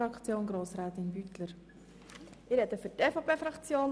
Ich spreche für die EVP-Fraktion.